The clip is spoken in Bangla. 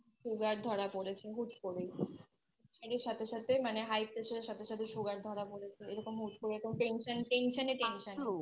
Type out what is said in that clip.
দিদার এই কিছুদিন Sugar ধরা পড়েছে হুট করে Sugar এর সাথে সাথে মানে High pressure এর সাথে সাথে Sugar ধরা পড়েছে এরকম হুট করে তো Tension Tension এ Tension এ